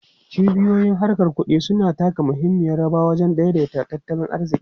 Cibiyoyin harkar kudi suna taka muhimmiyar rawa wajen daidaita tattalin arziki.